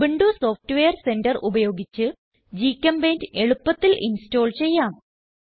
Ubuntu software centre ഉപയോഗിച്ച് ഗ്ചെമ്പെയിന്റ് എളുപ്പത്തിൽ ഇൻസ്റ്റോൾ ചെയ്യാം